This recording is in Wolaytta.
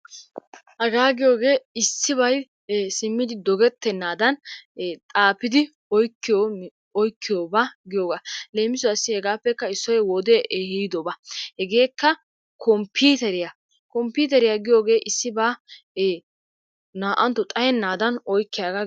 Hagaa giyooge issibay simmid dogettennaadan ee xaafidi woykko oykkiyoogaa giyoogaa. Leemissuwassi hegaappekka issoy wode ehiidoba hegeekka komppiiteriyaa. Komppiteriyaa giyogee issibaa naa'antto xayennadan oykkiyaaga.